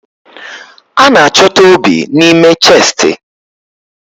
A na-achọta obi n'ime chestị